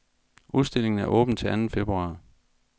Udstillingen er åben til anden februar.